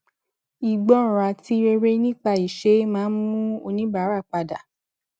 ìgbọràn àti rere nípa iṣé máa ń mú oníbàárà pada